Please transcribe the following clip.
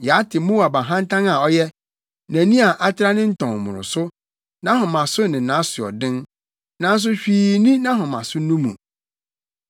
Yɛate Moab ahantan a ɔyɛ, nʼani a atra ne ntɔn mmoroso, nʼahomaso ne nʼasoɔden nanso hwee nni nʼahomaso no mu.